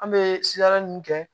An bɛ sikaro mun kɛ